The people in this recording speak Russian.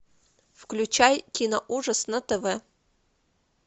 включай киноужас на тв